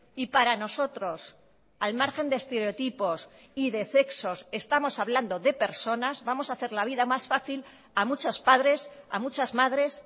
y para nosotros al margen de estereotipos y de sexos estamos hablando de personas vamos a hacer la vida más fácil a muchos padres a muchas madres